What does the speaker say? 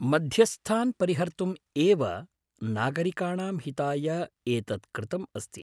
मध्यस्थान् परिहर्तुम्‌ एव नागरिकाणां हिताय एतत् कृतम् अस्ति।